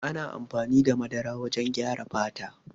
Ana amfani da madara wajen gyara fata.